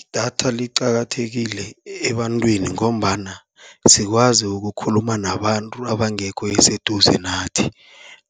Idatha liqakathekile ebantwini ngombana, sikwazi ukukhuluma nabantu abangekho eseduze nathi,